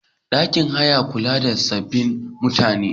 Ɗakin haya na kula da sababbin mutane.